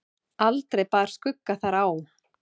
Aldrei bar skugga þar á.